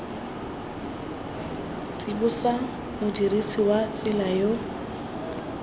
tsibosa modirisi wa tsela yo